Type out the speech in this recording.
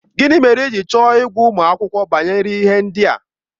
Gịnị mere i ji chọọ ịgwa ụmụ akwụkwọ banyere ihe ndị a?